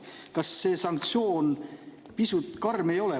Kas see sanktsioon pisut karm ei ole?